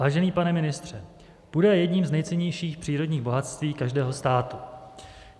Vážený pane ministře, půda je jedním z nejcennějších přírodních bohatství každého státu.